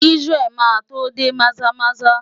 Isiah máa tó dé Maza-Maza.